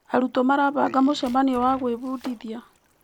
Arutwo marabanga mũcemanio wa gwĩbundithia.